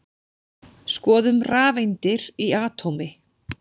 Skoðum rafeindir í atómi.